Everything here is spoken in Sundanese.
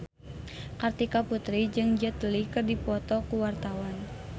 Kartika Putri jeung Jet Li keur dipoto ku wartawan